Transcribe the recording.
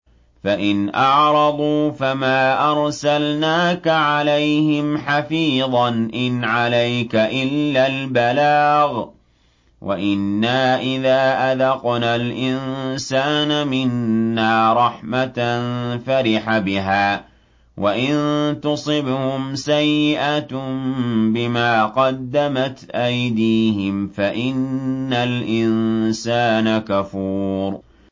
فَإِنْ أَعْرَضُوا فَمَا أَرْسَلْنَاكَ عَلَيْهِمْ حَفِيظًا ۖ إِنْ عَلَيْكَ إِلَّا الْبَلَاغُ ۗ وَإِنَّا إِذَا أَذَقْنَا الْإِنسَانَ مِنَّا رَحْمَةً فَرِحَ بِهَا ۖ وَإِن تُصِبْهُمْ سَيِّئَةٌ بِمَا قَدَّمَتْ أَيْدِيهِمْ فَإِنَّ الْإِنسَانَ كَفُورٌ